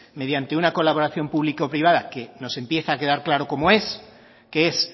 mediante una colaboración público privada que nos empieza a quedar claro cómo es que es